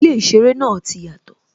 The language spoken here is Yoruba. Ilé īseré náà ti yàtò